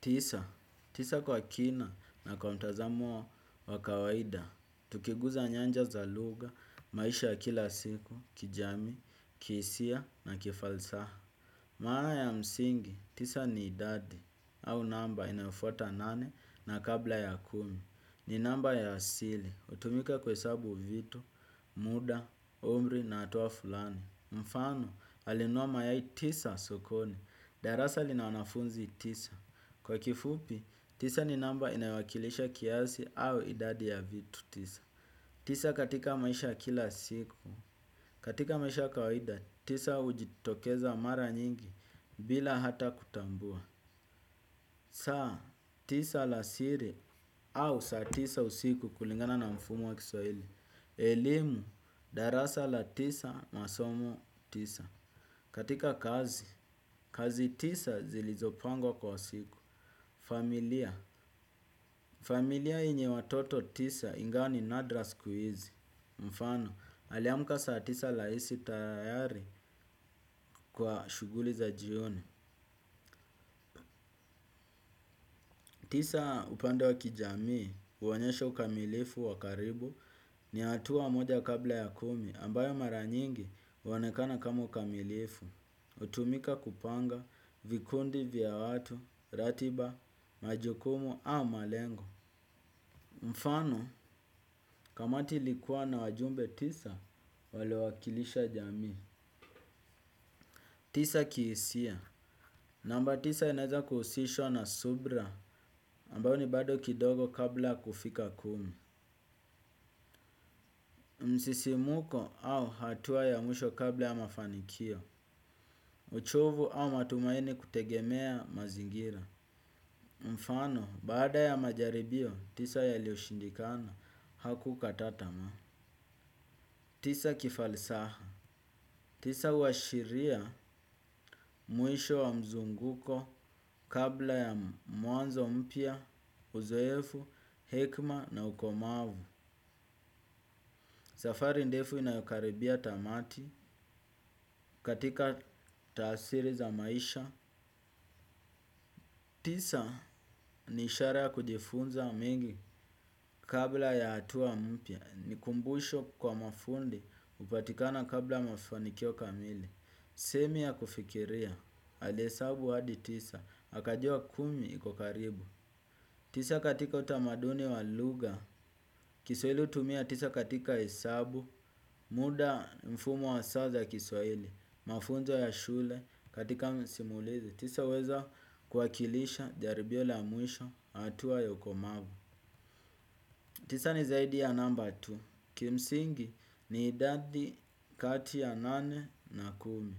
Tisa, tisa kwa kina na kwa mtazamo wa kawaida, tukiguza nyanja za lugha, maisha ya kila siku, kijamii, kihisia na kifalsaha. Maana ya msingi, tisa ni idadi, au namba inayofuata nane na kabla ya kumi, ni namba ya asili, utumika kuhesabu vitu, muda, umri na hatua fulani. Mfano, alinunua mayai tisa sokoni. Darasa linawanafunzi tisa. Kwa kifupi, tisa ni namba inayowakilisha kiasi au idadi ya vitu tisa. Tisa katika maisha kila siku. Katika maisha ya kawida, tisa ujitokeza mara nyingi bila hata kutambua. Saa, tisa alasiri au saa tisa usiku kulingana na mfumo wa kiswahili. Elimu, darasa la tisa, masomo, tisa. Katika kazi, kazi tisa zilizopangwa kwa usiku. Familia, familia yenye watoto tisa ingawa ni nadra siku hizi. Mfano, aliamuka saa tisa laisi tayari kwa shuguli za jioni. Tisa upande wa kijamii uwonyeshe ukamilifu wakaribu ni hatua moja kabla ya kumi ambayo mara nyingi uwonekana kama ukamilifu. Utumika kupanga, vikundi vya watu, ratiba, majukumu au malengo. Mfano, kamati ilikuwa na wajumbe tisa, walio wakilisha jamii. Tisa kihisia. Namba tisa inaeza kuhusishwa na subra ambayo ni bado kidogo kabla kufika kumi. Msisimuko au hatua ya mwisho kabla ya mafanikio uchovu au matumaini kutegemea mazingira mfano, baada ya majaribio, tisa yalioshindikana hakukata tamaa. Tisa kifalsaha tisa huashiria mwisho wa mzunguko kabla ya mwanzo mpya, uzoefu, hekma na ukomavu safari ndefu inayokaribia tamati katika taasiri za maisha tisa ni ishara ya kujifunza mengi kabla ya hatua mpya. Nikumbusho kwa mafundi upatikana kabla mafunikio kamili. Semi ya kufikiria ali hsabu hadi tisa. Hakajua kumi iko karibu. Tisa katika utamaduni wa luga Kiswahili utumia tisa katika hesabu. Muda mfumo wa saa za kiswahili mafunzo ya shule katika simulizi tisa uweza kuwakilisha jaribio la mwisho hatua ukomavu tisa ni zaidi ya namba tu. Kimsingi ni idadi kati ya nane na kumi.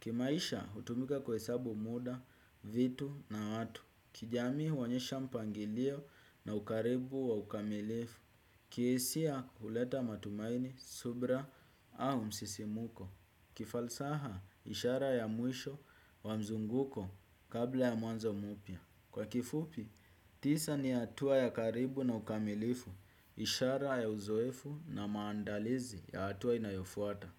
Kimaisha utumika kuhesabu muda, vitu na watu. Kijamii huonyesha mpangilio na ukaribu wa ukamilifu. Kihisia huleta matumaini, subra au msisimuko. Kifalsaha ishara ya mwisho wa mzunguko kabla ya mwanzo mupya kwa kifupi, tisa ni hatua ya karibu na ukamilifu. Ishara ya uzoefu na maandalizi ya hatua inayofuata.